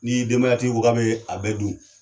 Ni denbayatigi ko k'a bɛ bɛɛ dun